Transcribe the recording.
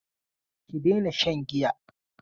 Ki daina shan giya!